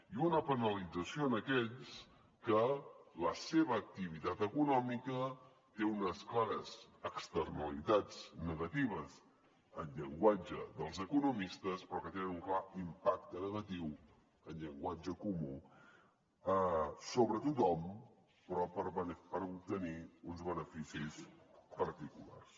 i una penalització en aquells que la seva activitat econòmica té unes clares externalitats negatives en llenguatge dels economistes però que tenen un clar impacte negatiu en llenguatge comú sobre tothom però per obtenir uns beneficis particulars